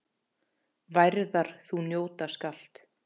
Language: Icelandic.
Værðar þú njóta skalt.